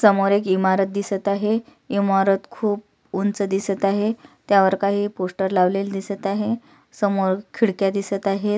समोर एक इमारत दिसत आहे इमारत खुप उंच दिसत आहे त्यावर काही पोस्टर लावलेले दिसत आहे समोर खिडक्या दिसत आहेत.